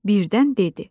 Birdən dedi.